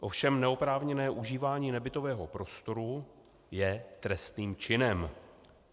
Ovšem neoprávněné užívání nebytového prostoru je trestným činem.